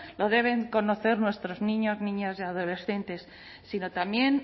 lo deben conocer nuestros niños niñas y adolescentes sino también